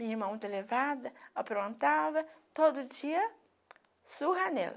Minha irmã muito elevada, aprontava, todo dia surra nela.